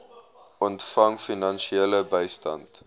ontvang finansiële bystand